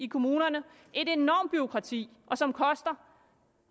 kommunerne et enormt bureaukrati som koster